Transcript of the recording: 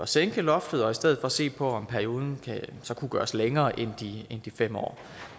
sænke loftet og i stedet for se på om perioden så kunne gøres længere end de fem år